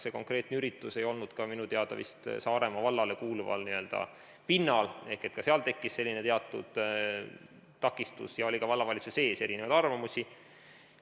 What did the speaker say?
See konkreetne üritus ei toimunud minu teada vist Saaremaa vallale kuuluval pinnal ehk ka seal tekkis selline teatud takistus ja oli ka vallavalitsuse sees erinevaid arvamusi.